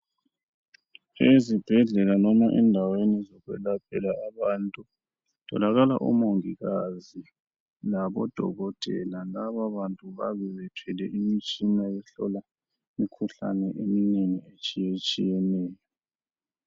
Ezibhedlela noma endaweni zokwelaphela abantu kutholakala omongikazi labodokotela laba bantu babe bethwele imitshina ehlola imikhuhlane eminengi etshiyetshiyeneyo.